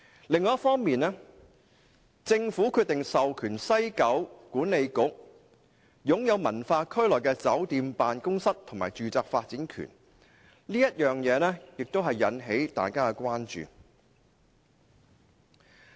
另一方面，政府決定授權西九管理局擁有文化區內的酒店、辦公室及住宅發展權，這點引起了大家關注。